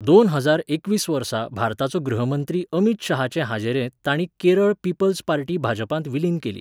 दोन हजार एकवीस वर्सा भारताचो गृहमंत्री अमित शाहाचे हाजेरेंत तांणी केरळ पीपल्स पार्टी भाजपांत विलीन केली.